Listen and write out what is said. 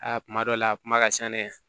Aa kuma dɔ la a kuma ka ca dɛ